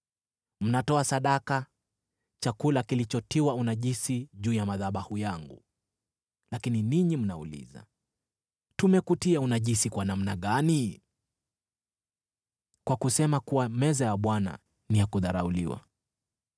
“Mnatoa sadaka chakula kilichotiwa unajisi juu ya madhabahu yangu. “Lakini ninyi mnauliza, ‘Tumekutia unajisi kwa namna gani?’ “Kwa kusema kuwa meza ya Bwana ni ya kudharauliwa.